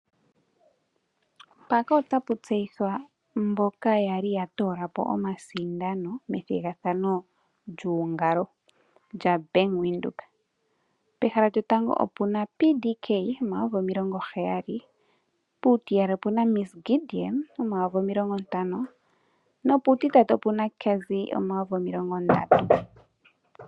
Mpaka otapu tseyithwa mboka yali ya toolapo omasindano methigathano lyuungalo lya Bank Windhoek , pehala lyotango opena PDK N$70000, puutiyali opuna Ms Gideon N$50000 nopuutitatu opena Cazzy N$30000